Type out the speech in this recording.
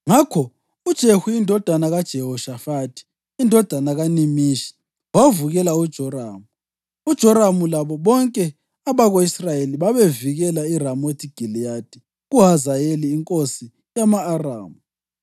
Ngakho uJehu indodana kaJehoshafathi, indodana kaNimishi wavukela uJoramu. (UJoramu labo bonke abako-Israyeli babevikela iRamothi Giliyadi kuHazayeli inkosi yama-Aramu,